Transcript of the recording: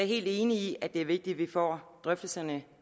helt enig i at det er vigtigt at vi får drøftelserne